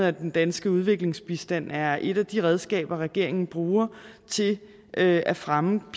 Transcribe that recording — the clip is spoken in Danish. at den danske udviklingsbistand er et af de redskaber regeringen bruger til at at fremme